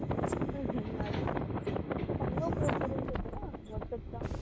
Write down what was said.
अं तू चांगला उपयोग करून घेतो ना व्हॅटप्प्स चा